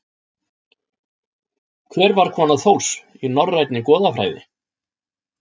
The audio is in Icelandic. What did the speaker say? Hver var kona Þórs í Norænni goðafræði?